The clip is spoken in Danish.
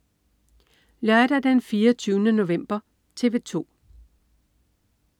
Lørdag den 24. november - TV 2: